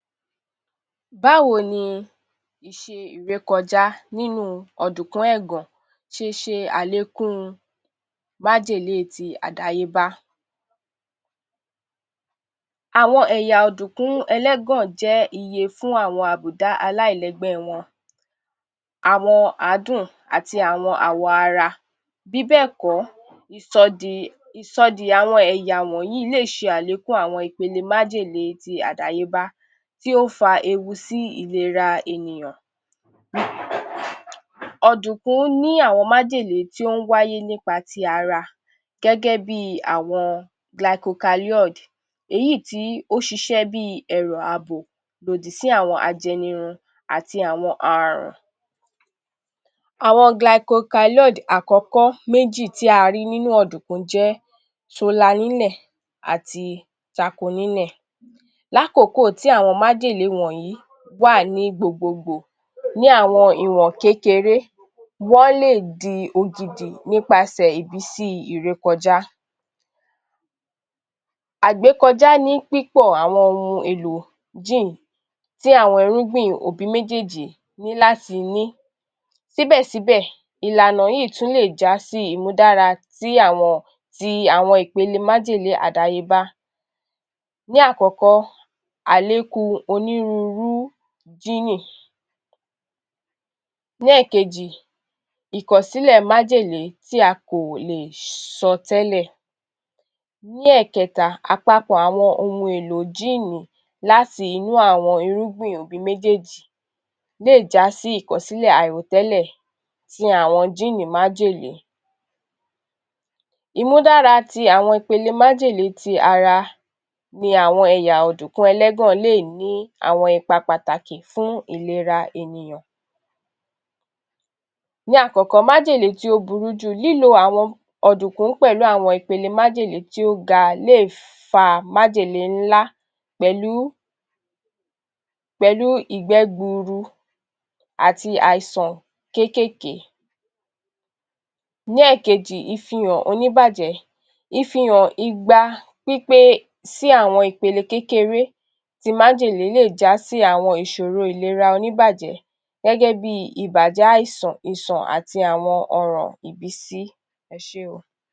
Báwo ni ìṣe ìrékọjá nínú ọ̀dùnkún ẹ̀gàn ṣe ṣe àlékún májèlé ti àdáyébá? Àwọn ẹ̀yà ọ̀dùnkún ẹlẹ́gàn jẹ́ iye fún àwọn àbùdá aláìlẹ́gbẹ́ wọn, àwọn àádùn àti àwọn àwọ̀ ara bí bẹ́ẹ̀ kọ́, [ìṣòdì…] ìṣòdì àwọn ẹ̀yà wọ̀nyí lè ṣe àlékún àwọn ìpele májèlé ti àdáyébá tí ó fa ewu sí ìlera ènìyàn. NOISE Ọ̀dùnkún ní àwọn májèlé tí ó ń wáyé nípa ti ara gẹ́gẹ́ bi àwọn gilaikokalọ́ìdì [glycoalkaloid] èyí tí ó ṣiṣẹ́ bi ẹ̀rọ ààbò lòdì sí àwọn aj̣ẹnirun àti àwọn aràn. Àwọn gilaikokalọ́ìdì [glycoalkaloids] àkọ́kọ́ méjì tí a rí nínú ọ̀dùnkún jẹ́ solanínẹ̀n [solanine] àti ṣakonínẹ̀n [chaconine]. Lákòókò tí àwọn májèlé wọ̀nyí wà ní gbogboogbò ní àwọn ìwọ̀n kékeré, wọ́n lè di ògidì nípasẹ̀ ìmísí ìrékọjá. Àgbékọjá ní púpọ̀ àwọn ohun-èlò jíìnì [gene] tí àwọn irúgbìn òbí méjèèjì ní láti ní síbẹ̀síbẹ̀ ìlànà yìí tún lè já sí ìmúdára [tí àwọn] ti àwọn ìpele májèlé àdáyébá. Ní àkọ́kọ́, àlékún onírúurú jíìnì [gene]. Ní ẹ̀kejì, Ní ẹ̀kejì, ìkọ̀sílẹ̀ májèlé tí a kò lè sọ tẹ́lẹ̀. Ní ẹ̀kẹta, àpapọ̀ àwọn ohun-èlò jíìnì [gene] láti inú àwọn irúgbìn òbí méjèèjì lè já sí ìkọ̀sílẹ̀ àìròtẹ́lẹ̀ ti àwọn jíìnì [gene] májèlé. Ìmúdára ti àwọn ipele májèlé ti ara ni àwọn ẹ̀yà ọ̀dùnkún ẹlẹ́gàn lè ní àwọn ipa pàtàkì fún ìlera ènìyàn. Ní àkọ́kọ́, májèlé tí ó burú ju. Lílo àwọn ọ̀dùnkún pẹ̀lú àwọn ìpele májèlé tí ó ga lè fa májèlé ńlá [pẹ̀lú…] pẹ̀lú ìgbẹ́ gbuuru àti àìsàn kéékèèké. Ní ẹ̀kejì, ìfihàn oníbàjẹ́. Ìfihàn igba pípé sí àwọn ìpele kékeré ti májèlé lè já sí àwọn ìṣòro ìlera oníbàjẹ́ gẹ́gẹ́ bi ìbàjẹ́ àìsàn, ìṣàn àti àwọn ọrùn ibisí. Ẹ ṣé o.